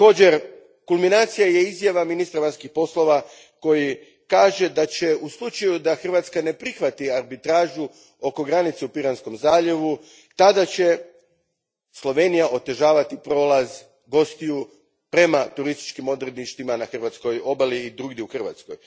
Međutim, kulminacija je izjava ministra vanjskih poslova koji kaže da će u slučaju da Hrvatska ne prihvati arbitražu oko granice u Piranskom zaljevu Slovenija otežavati prolaz gostiju prema turističkim odredištima na hrvatskoj obali i drugdje u Hrvatskoj.